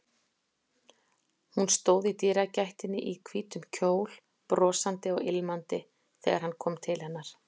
Hún stóð í dyragættinni í hvítum kjól, brosandi og ilmandi, þegar hann kom til hennar.